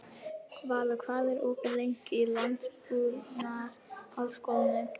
Valur, hvað er opið lengi í Landbúnaðarháskólanum?